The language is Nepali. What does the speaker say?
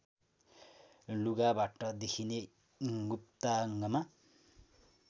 लुगाबाट देखिने गुप्ताङ्गमा